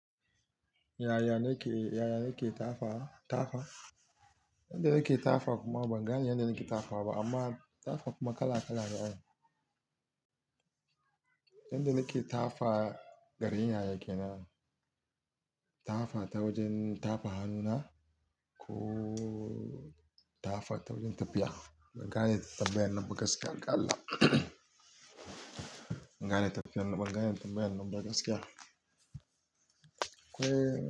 Yaya nake, yaya nake tafa, tafa? Yanda nake tafa kuma ban gane yanda nake tafa ba amma tafa kuma kala-kalane an. Yanda nake tafa, garin yaya yake n. Tafa ta wajen tafa hannuna ko tafa ta wajen tafiya. Ban gane tafiyar nan ba gaskiya ga Allah. Ban gane tafiyar nan ba gane tafiyar nan ba gaskiya. Ko.